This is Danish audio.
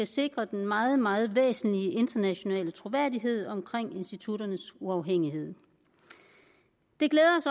sikre den meget meget væsentlige internationale troværdighed omkring institutternes uafhængighed det glæder